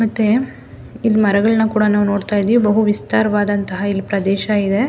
ಮತ್ತೆ ಇಲ್ಲಿ ಮರಗಳನ್ನು ಸಹ ನಾವು ನೋಡ್ತಾ ಇದ್ದಿವಿ ಬಹು ವಿಸ್ತಾರವದಂತಹ ಪ್ರದೇಶ ಇದೆ.